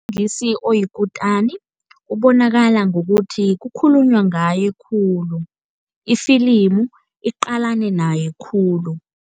Oyikutani ubonakala ngokuthi kukhulunywa ngaye khulu, ifilimu iqalane naye khulu.